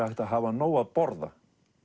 hægt að hafa nóg að borða